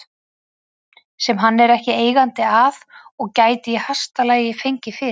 sem hann er ekki eigandi að og gæti í hæsta lagi fengið fyrir